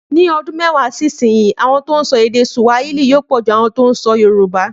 Ni bi o̩dún mé̩wàá sí ìsinyìí, àwo̩n tó ń so̩ èdè Sùàhílì yóò pò̩ ju àwo̩n tó ń so̩ Yorùbá